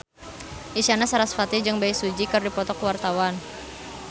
Isyana Sarasvati jeung Bae Su Ji keur dipoto ku wartawan